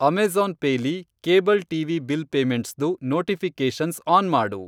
Amazon Pay ಲಿ cable TV bill ಪೇಮೆಂಟ್ಸ್ದು notifications on ಮಾಡು.